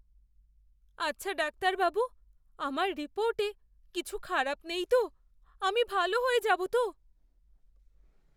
আচ্ছা ডাক্তারবাবু, আমার রিপোর্টে কিছু খারাপ নেই তো? আমি ভাল হয়ে যাব তো?